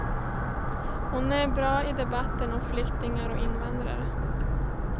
Hon är bra i debatten om flyktingar och invandrare.